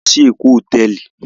A lọ sí Ékò hotẹẹli